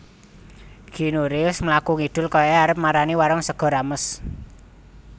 Keanu Reeves mlaku ngidul koyoke arep marani warung sego rames